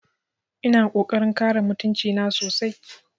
Ina ƙoƙarin kare mutunci na sosai